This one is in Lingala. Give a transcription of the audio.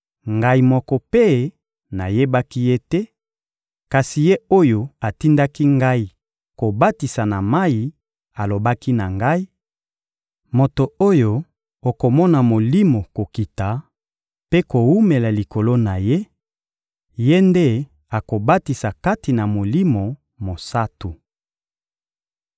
Ngai moko mpe nayebaki Ye te; kasi Ye oyo atindaki ngai kobatisa na mayi alobaki na ngai: «Moto oyo okomona Molimo kokita mpe kowumela likolo na Ye, Ye nde akobatisa kati na Molimo Mosantu.»